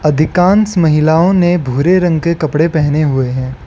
अधिकांश महिलाओं ने भूरे रंग के कपड़े पहने हुए हैं।